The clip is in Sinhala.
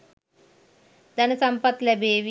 ධන සම්පත් ලැබේ.